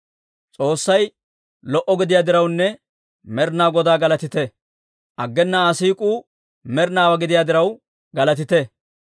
S'oossay lo"a gidiyaa dirawunne Med'inaa Godaa galatite. Aggena Aa siik'uu med'inaawaa gidiyaa diraw, galatite.